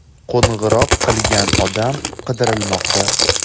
Qo‘ng‘iroq qilgan odam qidirilmoqda.